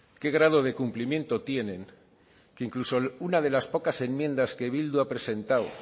qué grado de cumplimiento tienen que incluso una de las pocas enmiendas que bildu ha presentado